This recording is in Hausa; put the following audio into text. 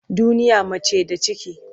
Duniya mace da ciki.